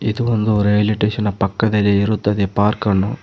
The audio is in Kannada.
ಇದು ಒಂದು ರೈಲ್ವೆ ಸ್ಟೇಷನ್ ಪಕ್ಕದಲ್ಲಿ ಇರುತ್ತದೆ ಪಾರ್ಕನ್ನು--